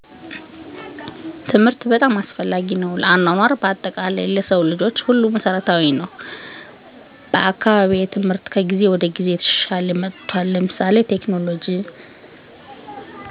ትምህርት በጣም አስፈላጊ ነው ለአኗኗር በአጠቃላይ ለሰው ልጆች ሁሉ መሰረታዊ ነወ። በአካባቢየ ትምህርት ከጊዜ ወደ ጊዜ እየተሻሻለ መጥቷል ለምሳሌ በቴክኖሎጅ